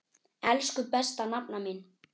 Elsku besta nafna mín.